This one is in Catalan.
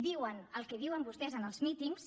diuen el que diuen vostès en els mítings